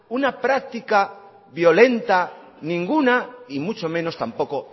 una práctica violenta ninguna y mucho menos tampoco